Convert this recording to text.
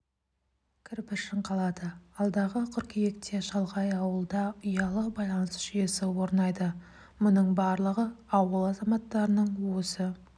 кірпішін қалады алдағы қыркүйекте шалғай ауылда ұялы байланыс жүйесі орнайды мұның барлығы ауыл азаматтарының осы